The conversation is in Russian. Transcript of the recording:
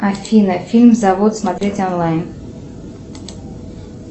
афина фильм завод смотреть онлайн